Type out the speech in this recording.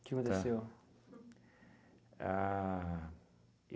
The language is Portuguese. Tá? O que aconteceu? A